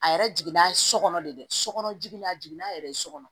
A yɛrɛ jiginna so kɔnɔ de dɛ sokɔnɔ jigin na a jigin n'a yɛrɛ ye so kɔnɔ